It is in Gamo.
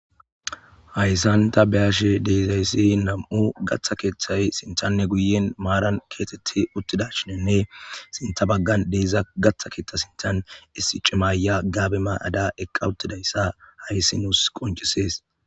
Haysan ta be'ashe de'izaysi nam'u gaththa keththay sinthanne guyyen maaran keththathi uttidashenne sinththa baggan de'za gaaththa keththan sinthan issi cima ayiya gaabe ma'ada eqqa uttidayssa hayssi nuus qonccisses.